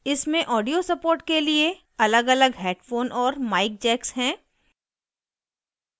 इसमें audio support के लिए अलगअलग headphone और mic jacks हैं